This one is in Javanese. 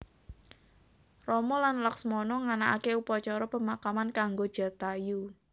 Rama lan Laksmana nganakaké upacara pemakaman kanggo Jatayu